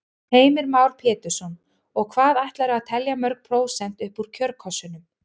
Heimir Már Pétursson: Og hvað ætlarðu að telja mörg prósent upp úr kjörkössunum?